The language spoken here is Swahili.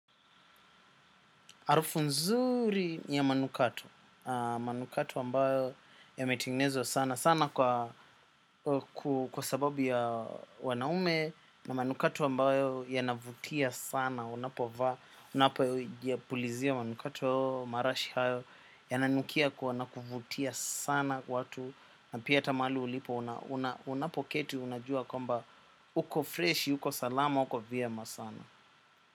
Harufu nzuri ya manukato, manukato ambayo yametengenezwa sana, sana kwa sababu ya wanaume na manukato ambayo yanavutia sana, unapovaa, unapo yapulizia manukato marashi hayo, yananukia kwa na kuvutia sana watu, na pia hata mahali ulipo unapoketi, unajua kwamba uko freshi, uko salama, uko vyema sana.